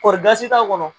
Kɔɔri gasi t'a kɔnɔ